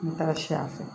N mi taga si a fɛ